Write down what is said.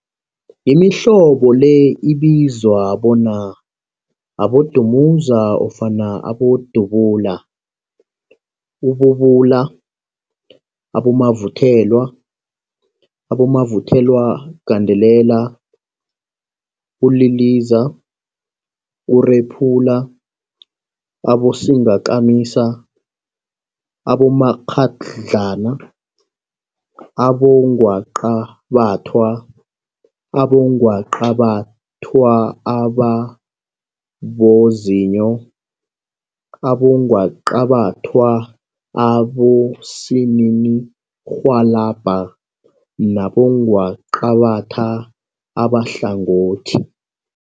Imihlobo le ibizwa bona, abodumuza ofana abodubula, ububula, abomavuthelwa, abomavuthelwagandelela, uliliza, urephula, abosingakamisa, abomakghadlana, abongwaqabathwa, abongwaqabathwa ababozinyo, abongwaqabathwa abosininirhwalabha nabongwaqabatha abahlangothi.